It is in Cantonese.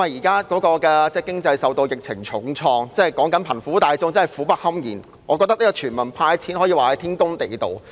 經濟現時受到疫情重創，貧苦大眾苦不堪言，我認為全民"派錢"天公地道。